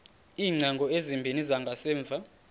iingcango ezimbini zangasemva